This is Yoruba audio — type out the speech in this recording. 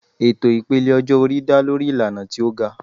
Ètò ìpele ọjọ́-orí dá lórí ìlànà tí ó ga.